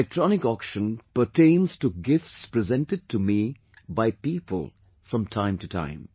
This electronic auction pertains to gifts presented to me by people from time to time